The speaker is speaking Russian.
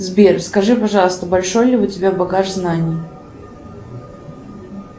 сбер скажи пожалуйста большой ли у тебя багаж знаний